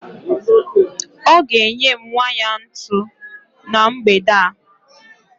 Ọ ga-enye m waya ntu na mgbede a